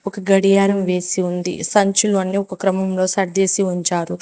ఒక గడియారం వేసి ఉంది సంచులు అన్నీ ఒక క్రమంలో సర్దేసి ఉంచారు.